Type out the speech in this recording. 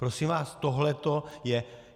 Prosím vás, tohleto je...